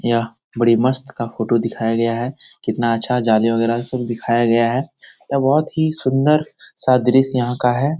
यह बड़ी मस्त का फोटो दिखाया गया है कितना अच्छा जाली वगैरह सब दिखाया गया है यह बहुत ही सुंदर सा दृश्य यहाँ का है ।